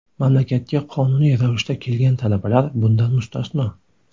Mamlakatga qonuniy ravishda kelgan talabalar bundan mustasno.